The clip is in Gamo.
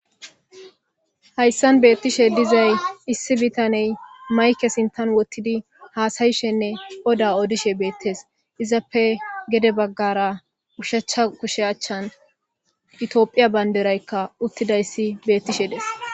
Hayssan beetishe dizay issi bitanne maykke sinthan wothidi haasayishenne odda odishe beetees. Izappe gede bagara ushacha kushiya achan etophiya bandiraykka utidayssi beetishe de7ees.